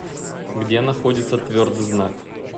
где находится твердый знак